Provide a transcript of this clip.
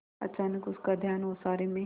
अचानक उसका ध्यान ओसारे में